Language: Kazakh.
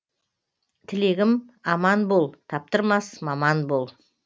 тілегім аман бол таптырмас маман бол